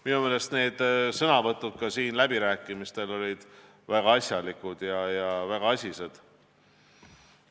Minu meelest olid sõnavõtud siin läbirääkimistel väga asjalikud, väga asised.